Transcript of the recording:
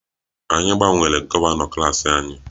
Anyị gbanwere gọvanọ klas anyị